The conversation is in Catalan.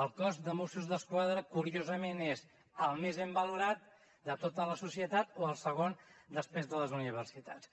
el cos de mossos d’esquadra curiosament és el més ben valorat de tota la societat o el segon després de les universitats